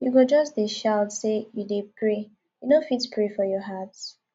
you go just dey shout sey you dey pray you no fit pray for your heart